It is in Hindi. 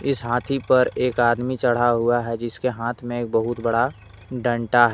इस हाथी पर एक आदमी चढ़ा हुआ है जिसके हाथ में एक बहुत बड़ा डंडा है।